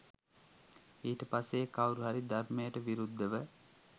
ඊට පස්සේ ඒ කවුරුහරි ධර්මයට විරුද්ධව